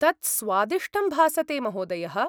तत् स्वादिष्टं भासते महोदयः।